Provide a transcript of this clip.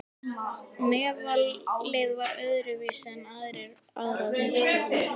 Meðalið var öðru vísi en aðrar mixtúrur.